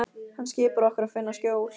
Hann skipar okkur að finna skjól.